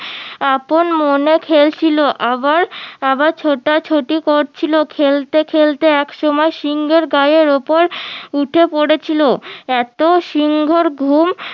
আপন মনে খেলছিল আবার আবার ছোটাছুটি করছিলো খেলতে খেলতে এক সময় সিংহের গায়ের উপর উঠে পড়েছিল এতো সিংহর ঘুম